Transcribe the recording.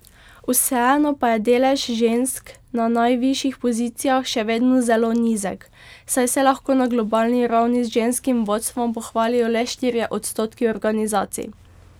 Vseeno pa je delež žensk na najvišjih pozicijah še vedno zelo nizek, saj se lahko na globalni ravni z ženskim vodstvom pohvalijo le štirje odstotki organizacij.